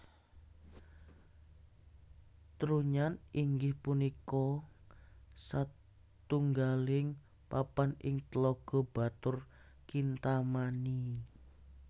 Trunyan inggih punika satunggaling papan ing Tlaga Batur Kintamani